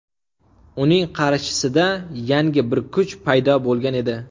Uning qarshisida yangi bir kuch paydo bo‘lgan edi.